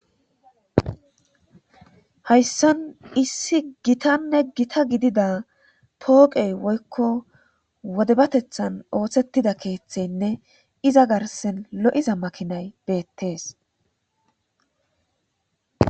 Hayssan issi gitanne gita gidida tooqey woykko wodebatethan oohthettida keeththeynne iza garsen lo7iza makinay deettees.